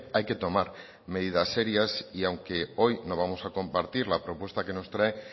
hay que tomar medidas serias y aunque hoy no vamos a compartir la propuesta que nos trae